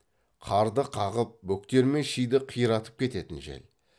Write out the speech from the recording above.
қарды қағып бөктер мен шиді қарайтып кететін жел